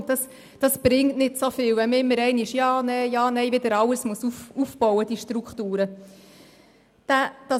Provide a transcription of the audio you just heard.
Dies bringt nicht so viel, wenn man einmal Ja, ein- mal Nein und wieder Ja und Nein sagt, sodass die ganzen Strukturen wieder aufgebaut werden müssen.